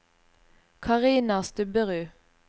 Karina Stubberud